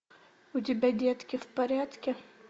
у тебя детки в порядке